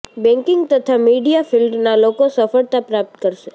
banking તથા media ફિલ્ડના લોકો સફળતા પ્રાપ્ત કરશે